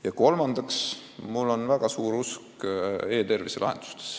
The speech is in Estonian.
Ja kolmandaks: mul on väga kindel usk e-tervise lahendustesse.